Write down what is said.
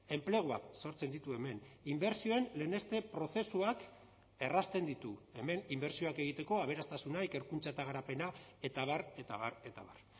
enpleguak sortzen ditu hemen inbertsioen leheneste prozesuak errazten ditu hemen inbertsioak egiteko aberastasuna ikerkuntza eta garapena eta abar eta abar eta abar